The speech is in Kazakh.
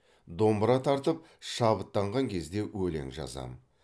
домбыра тартып шабыттанған кезде өлең жазамын